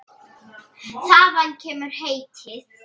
Þaðan kemur heitið.